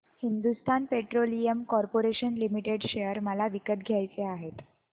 Hindustan petroleum corporation limited share मला विकत घ्यायचे आहेत